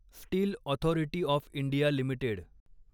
steel authority of India limited